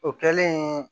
O kɛlen